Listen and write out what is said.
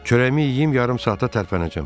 Çörəyimi yeyib yarım saata tərpənəcəm.